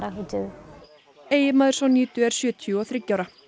eiginmaður Sonjidu er sjötíu og þriggja ára